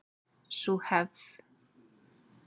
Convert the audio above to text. Sú hefð